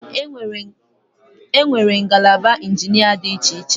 Enwere ngalaba injinia dị iche iche